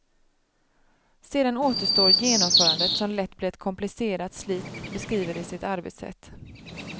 Sedan återstår genomförandet som lätt blir ett komplicerat slit, beskriver de sitt arbetssätt.